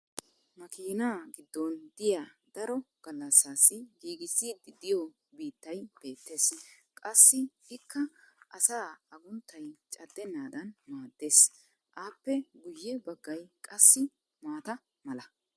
Makiinaa giddon diya daro galassaassi giigisiidi diyo biittay beetees. Qassi ikka asaa agunttay cadenaadan maadees. Appe guye baggay qassi maata mala.